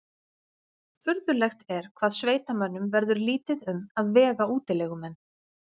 Furðulegt er hvað sveitamönnum verður lítið um að vega útilegumenn.